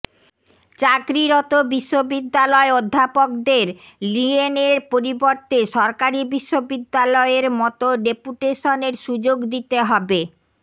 চাকরিরত বিশ্ববিদ্যালয় অধ্যাপকদের লিয়েনের পরিবর্তে সরকারি বিশ্ববিদ্যালয়ের মতো ডেপুটেশনের সুযোগ দিতে হবে